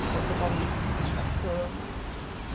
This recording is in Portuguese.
Ficou totalmente em cima da cama. E